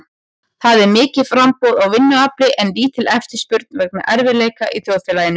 Það er mikið framboð á vinnuafli en lítil eftirspurn vegna erfiðleika í þjóðfélaginu.